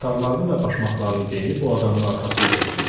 Paltarlarını və başmaqlarını geyinib o adamın arxasınca düşmüşdü.